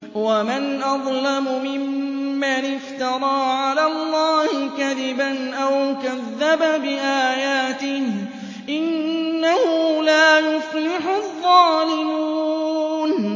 وَمَنْ أَظْلَمُ مِمَّنِ افْتَرَىٰ عَلَى اللَّهِ كَذِبًا أَوْ كَذَّبَ بِآيَاتِهِ ۗ إِنَّهُ لَا يُفْلِحُ الظَّالِمُونَ